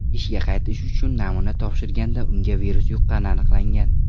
ishga qaytish uchun namuna topshirganda unga virus yuqqani aniqlangan.